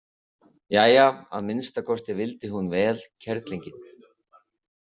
Jæja, að minnsta kosti vildi hún vel, kerlingin.